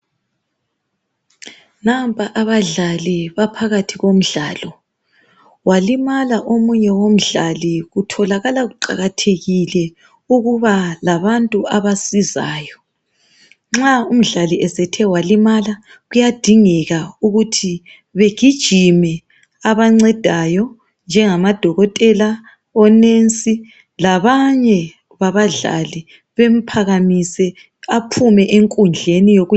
nampa abadlali baphakathi komdlalo walimala omunye womdlali kutholakala kuqakathekile ukuba labantu abasizayo nxa umdali esethe walimala kuyadingeka kuthi begijime abancedayo nje ngama dokotela onensi labanye babamdlao bamphakamise aphume enkundleni wokudlalela.